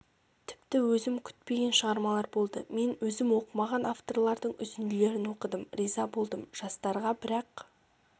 тіпті өзім күтпеген шығармалар болды мен өзім оқымаған авторлардың үзінділерін оқыдым риза болдым жастарға бірақ